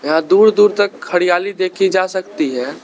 यहां दूर दूर तक हरियाली देखी जा सकती है।